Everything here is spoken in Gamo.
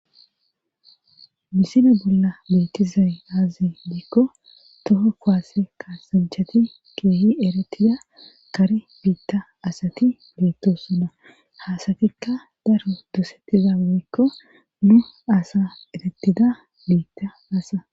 misile bolla beettizay azee giikko toho kuwaasse kaasanchati keehi eretida kari biitta asati beettossona ha asatikka daro dosettiza woykko nu asa erettida biitta asi.